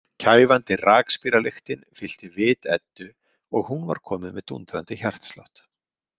Kæfandi rakspíralyktin fyllti vit Eddu og hún var komin með dúndrandi hjartslátt.